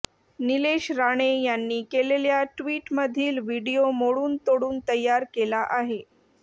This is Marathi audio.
निलेश राणे यांनी केलेल्या ट्वीटमधील व्हिडीओ मोडून तोडून तयार केला आहे